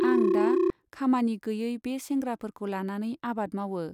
आं दा खामानि गैयै बे सेंग्राफोरखौ लानानै आबाद मावओ।